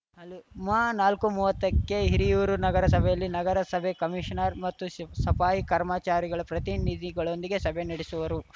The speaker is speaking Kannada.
ಹಲ್ ಮನಾಲ್ಕು ಮುವತ್ತಕ್ಕೆ ಹಿರಿಯೂರು ನಗರಸಭೆಯಲ್ಲಿ ನಗರಸಭೆ ಕಮೀಶನರ್‌ ಮತ್ತು ಸಿ ಸಫಾಯಿ ಕರ್ಮಚಾರಿಗಳ ಪ್ರತಿನಿಧಿಗಳೊಂದಿಗೆ ಸಭೆ ನಡೆಸುವರು